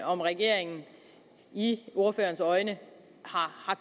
om regeringen i ordførerens øjne har